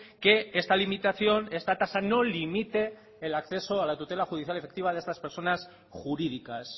que esta limitación esta tasa no limite el acceso a la tutela judicial efectiva de estas personas jurídicas